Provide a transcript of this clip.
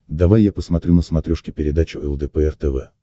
давай я посмотрю на смотрешке передачу лдпр тв